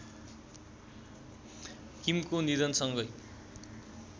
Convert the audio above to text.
किमको निधनसँगै